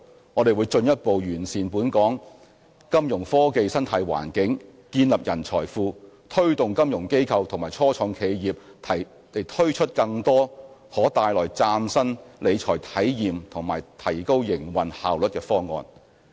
我們會進一步完善本港金融科技生態環境，建立人才庫，推動金融機構及初創企業推出更多可帶來嶄新理財體驗和提高營運效率的方案。